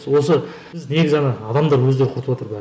осы негізі ана адамдар өздері құртыватыр бәрін